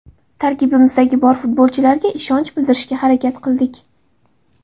Tarkibimizdagi bor futbolchilarga ishonch bildirishga harakat qildik.